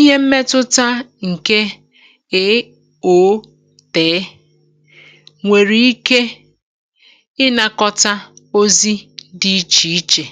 Ihe mmetụta ǹke é òotee nwèrè ike, um ị nakọta ozi dị̇ ichè ichè